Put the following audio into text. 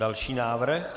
Další návrh.